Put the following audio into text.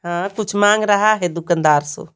हां कुछ मांग रहा है दुकानदार से--